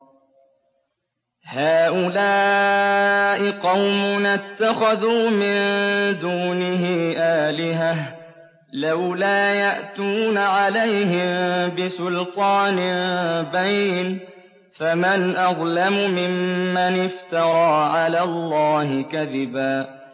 هَٰؤُلَاءِ قَوْمُنَا اتَّخَذُوا مِن دُونِهِ آلِهَةً ۖ لَّوْلَا يَأْتُونَ عَلَيْهِم بِسُلْطَانٍ بَيِّنٍ ۖ فَمَنْ أَظْلَمُ مِمَّنِ افْتَرَىٰ عَلَى اللَّهِ كَذِبًا